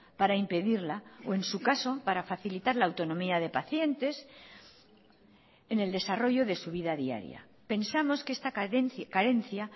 para impedirla o en su caso para facilitar la autonomía de pacientes en el desarrollo de su vida diaria pensamos que esta carencia